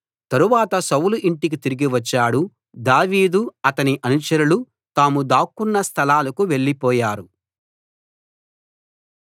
తరువాత సౌలు ఇంటికి తిరిగివచ్చాడు దావీదు అతని అనుచరులు తాము దాక్కొన్న స్థలాలకు వెళ్ళిపోయారు